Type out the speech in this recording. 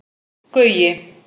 Gaui